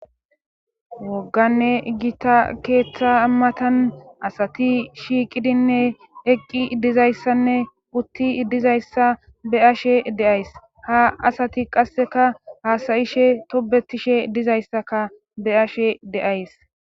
Woganne giita keeththa matan asati shiiqidinne eqqi dizayssanne utti dizayssa be ashe de'ays ha asati qasseka haasayishe tobetishe dizayssaka be ashe de'ays